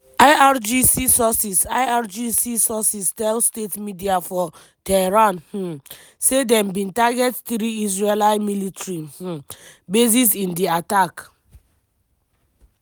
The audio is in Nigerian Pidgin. irgc sources irgc sources tell state media for tehran um say dem bin target three israeli military um bases in di attack.